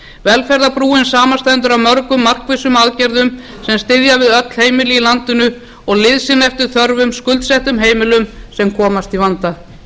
velferðarbrúin samanstendur af mörgum markvissum aðgerðum sem styðja við öll heimili í landinu og liðsinna eftir þörfum skuldsettum heimilum sem komast í vanda